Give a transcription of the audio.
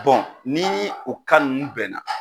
ni o ninnu bɛnna